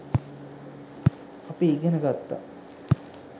අපි ඉගෙන ගත්තා